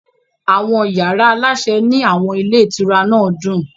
Àwọn yàrá aláṣẹ ní àwọn ilé ìtura náà dùn.